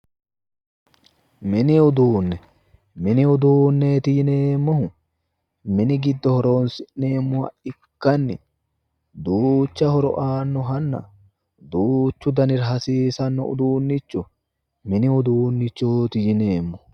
Mini uduunne, mini uduunneeti yineemmohu, mini giddo horoonsi'neemmohu ikkanni duuchu horo aannohanna duuchu danira hasiissannoha mini uduunnichooti yineemmo.